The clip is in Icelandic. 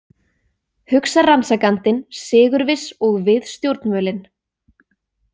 Hugsar rannsakandinn sigurviss og við stjórnvölinn.